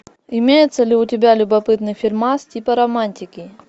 имеется ли у тебя любопытный фильмас типа романтики